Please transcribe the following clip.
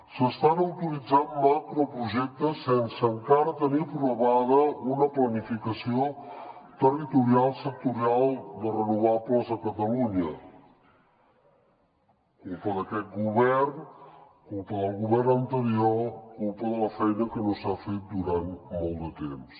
s’estan autoritzant macroprojectes sense encara tenir aprovada una planificació territorial sectorial de renovables a catalunya culpa d’aquest govern culpa del govern anterior culpa de la feina que no s’ha fet durant molt de temps